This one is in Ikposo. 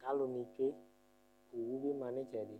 k'aluni tsue owu bi ma n'itsɛdi